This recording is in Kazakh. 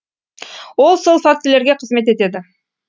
ол сол фактілерге қызмет етеді